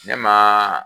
Ne ma